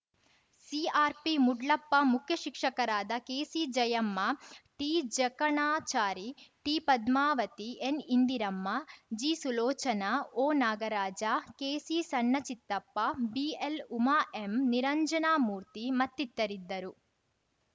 CRP Moodlappa ಮುಖ್ಯಶಿಕ್ಷಕರಾದ ಕೆಸಿಜಯಮ್ಮ ಟಿಜಕಣಚಾರಿ ಟಿಪದ್ಮಾವತಿ ಎನ್‌ಇಂದಿರಮ್ಮ ಜಿಸುಲೋಚನಾ ಒನಾಗರಾಜ ಕೆಸಿಸಣ್ಣ Chittappa B L Uma M Niranjanamurthy ಮತ್ತಿತರಿದ್ದರು